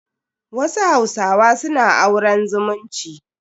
Wasu hausawa suna auren zumunci.